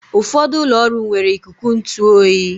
Ụfọdụ ụlọ ọrụ nwere ikuku ntụ oyi